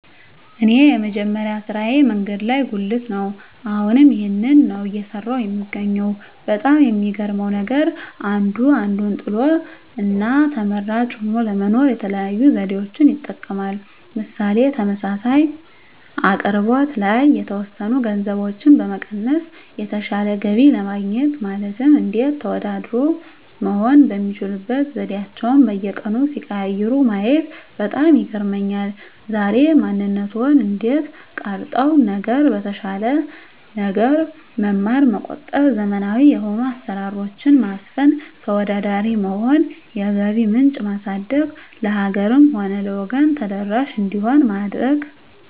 እኔ የመጀመሪያ ስራየ መንገድ ላይ ጉልት ነው አሁንም ይህንን ነው እየሰራሁ የምገኘው በጣም የሚገርመው ነገር አንዱ አንዱን ጥሎ እና ተመራጭ ሆኖ ለመኖር የተለያዩ ዘዴዎችን ይጠቀማል ምሳሌ ተመሳሳይ አቅርቦት ላይ የተወሰኑ ገንዘቦችን በመቀነስ የተሻለ ገቢ ለማግኘት ማለትም እንዴት ተወዳዳሪ መሆን የሚችሉበት ዘዴአቸዉን በየቀኑ ሲቀያይሩ ማየት በጣም ይገርመኛል ዛሬ ማንነትዎን እንዴት ቀረፀው ነገር የተሻለ ነገር መማር መቆጠብ ዘመናዊ የሆኑ አሰራሮች ማስፈን ተወዳዳሪ መሆን የገቢ ምንጭ ማሳደግ ለሀገርም ሆነ ለወገን ተደራሽ እንዲሆን ማድረግ